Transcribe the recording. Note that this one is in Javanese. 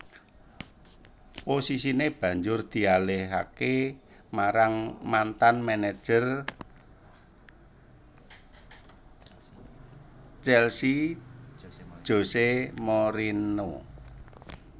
Posisiné banjur dialihaké marang mantan manajer Chelsea José Mourinho